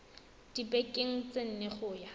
dibekeng tse nne go ya